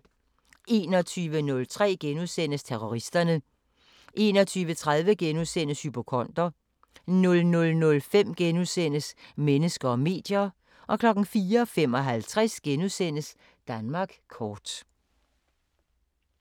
21:03: Terroristerne * 21:30: Hypokonder * 00:05: Mennesker og medier * 04:55: Danmark kort *